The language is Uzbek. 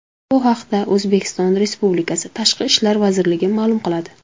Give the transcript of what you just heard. Bu haqda O‘zbekiston Respublikasi Tashqi ishlar vazirligi ma’lum qiladi .